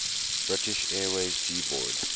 british airways g boad